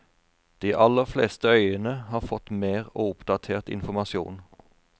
De aller fleste øyene har fått mer og oppdatert informasjon.